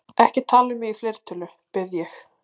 Ekki tala um mig í fleirtölu, bið ég.